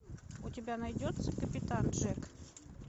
у тебя найдется капитан джек